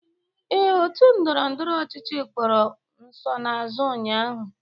Ee, otu ndọrọndọrọ ọchịchị kpọrọ nsonaazụ ụnyaahụ.